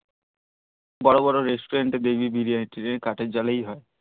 বর বর restaurant দেখবি বিরিয়ানি তিরিয়ানি কাঠের জালেই হই